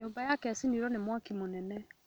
Nyumba yake ĩcinirwo nĩ mwaki mũnene